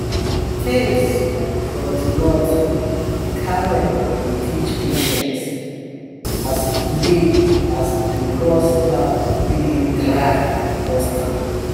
for tales from de north de camel dey teach patience as e dey as e dey cross land wey dey dry and dusty